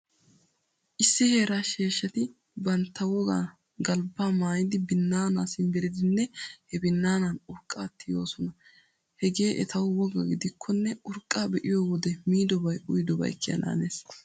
Issi heeraa sheeshshat banttaa wogan galbbaa maayidi binnaanaa simbbirdinne he binnaanaa urqqaa tiyoosona. Hegee etawu wogaa gidikkonne urqqaa be'iyo wode miidobay uyidobay kiyananees.